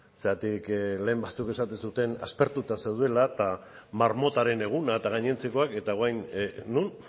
zergatik lehen batzuk esaten zuten aspertuta zeudela eta marmotaren eguna eta gainontzekoak eta orain non